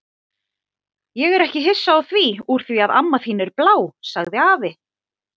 Ég er ekki hissa á því úr því að amma þín er blá, sagði afi.